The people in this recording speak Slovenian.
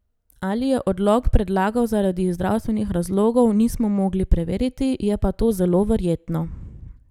Ali je odlog predlagal zaradi zdravstvenih razlogov, nismo mogli preveriti, je pa to zelo verjetno.